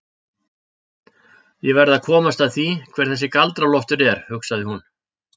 Ég verð að komast að því hver þessi Galdra-Loftur er, hugsaði hún.